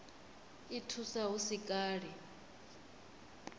i thusa hu si kale